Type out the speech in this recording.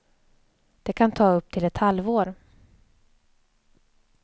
Det kan ta upp till ett halvår.